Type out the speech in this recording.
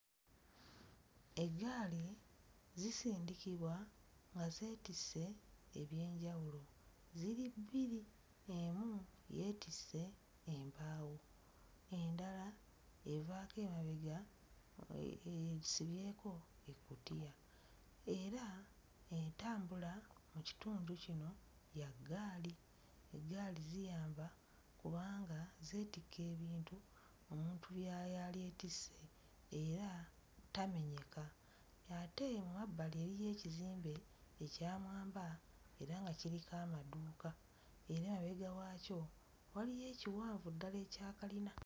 Eggaali zisindikibwa nga zeetisse eby'enjawulo, ziri bbiri emu yeetisse embaawo, endala evaako emabega esibyeko ekkutiya era entambula mu kitundu kino ya ggaali, eggaali ziyamba kubanga zeetikka ebintu omuntu bya yalyeetisse era tamenyeka, ate mu mabbali eriyo ekizimbe ekya mwambwa era nga kiriko amadduuka era amabega waakyo waliyo ekiwanvu ddala ekya kkalina.